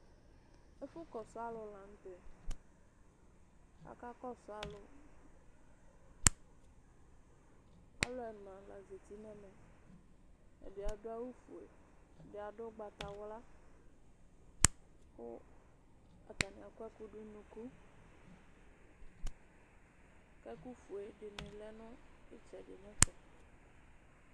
ɛfu kɔsu alò lantɛ aka kɔsu alò alò ɛna la zati n'ɛmɛ ɛdi adu awu fue ɛdi adu ugbata wla kò atani akɔ ɛkò du n'unuku k'ɛkò fue di ni lɛ no itsɛdi n'ɛfɛ.